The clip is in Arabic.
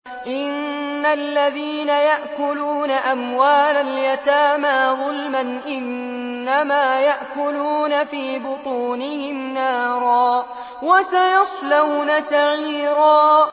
إِنَّ الَّذِينَ يَأْكُلُونَ أَمْوَالَ الْيَتَامَىٰ ظُلْمًا إِنَّمَا يَأْكُلُونَ فِي بُطُونِهِمْ نَارًا ۖ وَسَيَصْلَوْنَ سَعِيرًا